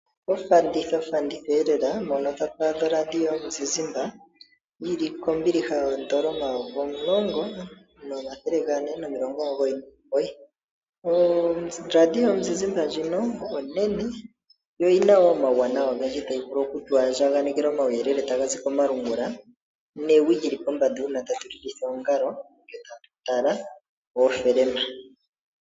Ofanditha yoradio yomuzizimba ndjoka tatu a dha kombiliha kooN$10499. Oradio ndjika yomuzizimba oyo onene yo oyi na omauwanawa ogendji. Otayi vulu oku tu andjanekela omauyelele taga komalungula, newi lyi li pombanda uuna to lilitha oongalo nokutala oofilima.